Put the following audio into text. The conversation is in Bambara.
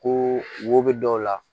Ko wo bɛ dɔw la